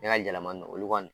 Ne ka yɛlɛmani olu kɔɔni